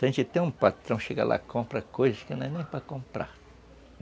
Se a gente tem um patrão que chega lá e compra coisas que não é nem para comprar.